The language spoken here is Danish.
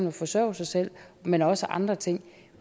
at forsørge sig selv men også andre ting